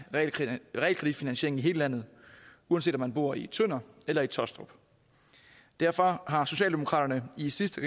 realkreditfinansiering i hele landet uanset om man bor i tønder eller i taastrup derfor har socialdemokraterne i sidste